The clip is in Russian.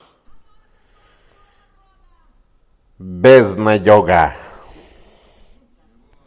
безнадега